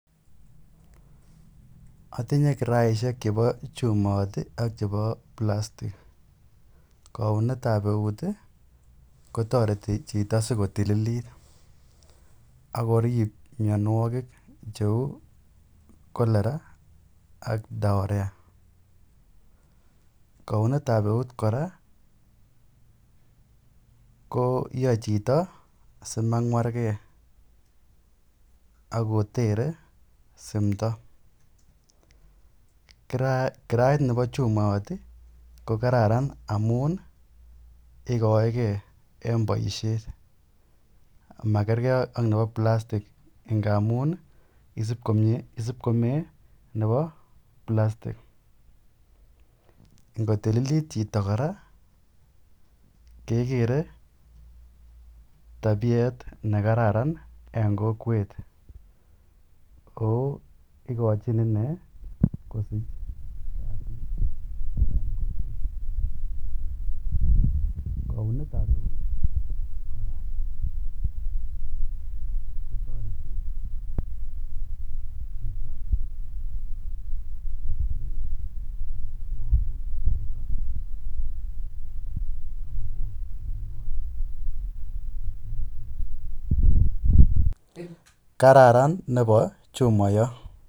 Atinye karaishek chepa chumait ak chepa plastik. Kaunet ap eut kotareti chito asiko tililit ak korip mianwagik cheu Cholera ak Diarrhoea. Kaunet ap eut kora ko yae chito asimang'war ge ako tere simdo. Karait nepa chumoit i ko kararan amu ikaege eng' poishet ama kerkei ak nepa plastik ngamun isipkomee nepa plastik. Ngo tililit chito kora ke kere tapiet ne kararan eng' kokwet ako ikachin ine kosich kalyet eng' kokwet. Kaunet ap et kora ko tareti chito kotililit porto ak kopos mianwagik che terter. Kararan nepa chumayat.